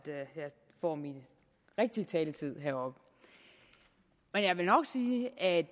får min rigtige taletid heroppe jeg vil nok sige at